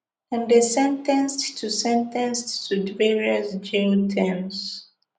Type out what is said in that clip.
dem dey sen ten ced to sen ten ced to various jail terms